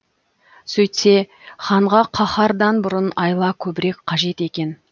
сөйтсе ханға қаһардан бұрын айла көбірек қажет екен